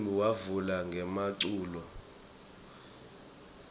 umcimbi wavula ngemaculo